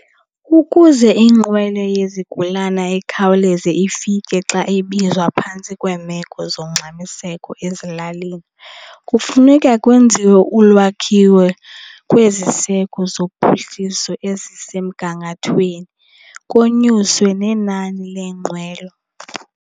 Ukuze inqwelo yezigulana ikhawuleze ifike xa ibizwa phantsi kweemeko zongxamiseko ezilalini, kufuneka kwenziwe ulwakhiwo kweziseko zophuhliso ezisemgangathweni konyuswe nenani lweenqwelo.